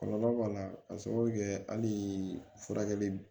Kɔlɔlɔ b'a la k'a sababu kɛ hali furakɛli